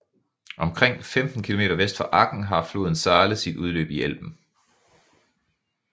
Omkring 15 km vest for Aken har floden Saale sit udløb i Elben